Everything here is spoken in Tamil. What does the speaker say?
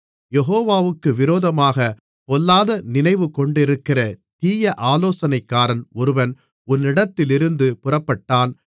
யெகோவாவுக்கு விரோதமாகப் பொல்லாத நினைவுகொண்டிருக்கிற தீய ஆலோசனைக்காரன் ஒருவன் உன்னிடத்திலிருந்து புறப்பட்டான்